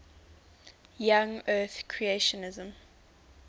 young earth creationism